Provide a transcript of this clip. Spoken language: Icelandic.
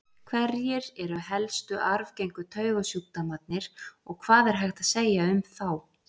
Hverjir eru helstu arfgengu taugasjúkdómarnir og hvað er hægt að segja um þá?